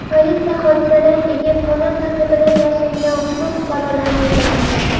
Politsiya hodisadan keyin qonun ta’qibidan yashiringan ushbu fuqarolarni izlamoqda.